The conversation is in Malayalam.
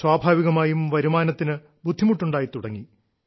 സ്വാഭാവികമായും വരുമാനത്തിന് ബുദ്ധിമുട്ടുണ്ടായി തുടങ്ങി